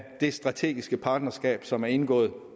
det strategiske partnerskab som er indgået